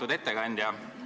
Lugupeetud ettekandja!